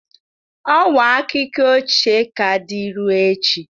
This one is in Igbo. Ọwa akụkọ ochie ka dị ruo echi.